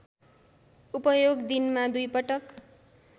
उपयोग दिनमा दुईपटक